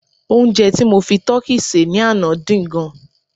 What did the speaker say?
onje ti mo fi tọki se ni Ana din gan